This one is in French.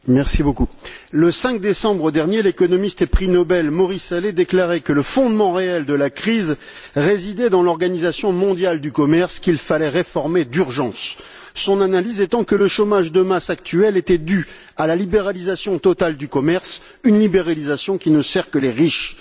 Monsieur le Président, le 5 décembre dernier, l'économiste et prix Nobel Maurice Allais déclarait que le fondement réel de la crise résidait dans l'Organisation mondiale du commerce, qu'il fallait réformer d'urgence, son analyse étant que le chômage de masse actuel était dû à la libéralisation totale du commerce, une libéralisation qui ne sert que les riches.